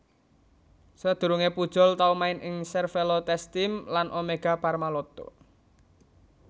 Sadurungé Pujol tau main ing Cervélo TestTeam lan Omega Pharma Lotto